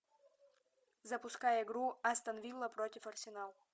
запускай игру астон вилла против арсенал